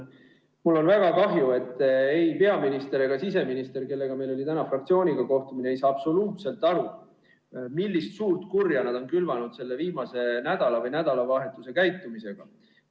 Mul on väga kahju, et ei peaminister ega siseminister, kellega meil oli täna fraktsioonis kohtumine, ei saa absoluutselt aru, millist suurt kurja nad on külvanud selle viimase nädala või nädalavahetuse käitumisega.